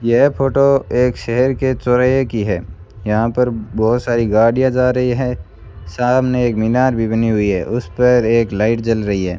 यह फोटो एक शहर के चौराहे की है यहां पर बहोत सारी गाड़ियां जा रही है सामने एक मीनार भी बनी हुई है उसपर एक लाइट जल रही है।